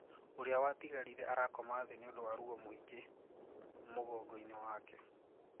ũria watigarire arakoma thii niũndũ wa ruo mũingĩ mogongo-ini wake.